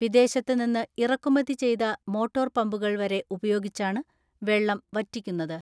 വിദേശത്തുനിന്ന് ഇറക്കുമതി ചെയ്ത മോട്ടോർ പമ്പു കൾ വരെ ഉപയോഗിച്ചാണ് വെള്ളം വറ്റിക്കുന്നത്.